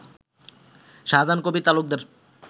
Shahjahan Kabir Talukdar